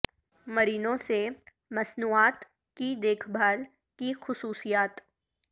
Moreno سے مصنوعات کی دیکھ بھال کی خصوصیات